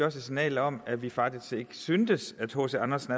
et signal om at vi faktisk ikke syntes at hc andersen